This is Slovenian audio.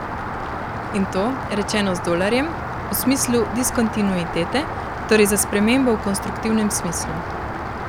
In to, rečeno z Dolarjem, v smislu diskontinuitete, torej za spremembo v konstruktivnem smislu.